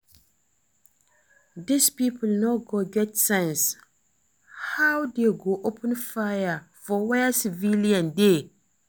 Dis people no get sense, how dey go open fire for where civilians dey